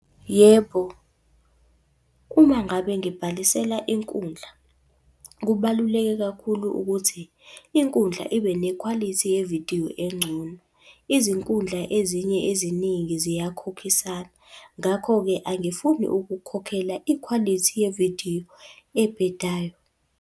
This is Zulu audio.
Yebo, uma ngabe ngibhalisela inkundla, kubaluleke kakhulu ukuthi inkundla ibe nekhwalithi yevidiyo engcono. Izinkundla ezinye eziningi ziyakhokhisana, ngakho-ke angifuni ukukhokhela ikhwalithi yevidiyo ebhedayo.